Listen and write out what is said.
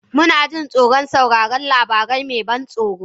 Muna jin tsoron sauraron labari mai ban tsoro?